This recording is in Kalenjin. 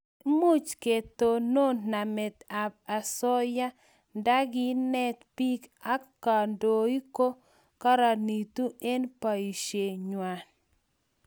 Much ketonon namet ab asoya ndakinet biik ak kandoik ko karanitu eng' boishe ngwai